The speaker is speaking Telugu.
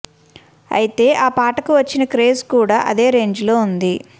అయితే ఆ పాటకు వచ్చిన క్రేజ్ కూడా అదే రేంజిలో ఉంది